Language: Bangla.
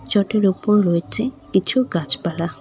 চটের ওপর রয়েছে কিছু গাছপালা।